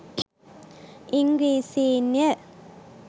ඉංග්‍රීසීන්ය.